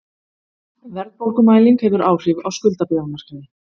Verðbólgumæling hefur áhrif á skuldabréfamarkaði